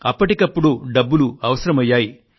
అప్పటికప్పుడు డబ్బులు అవసరమయ్యాయి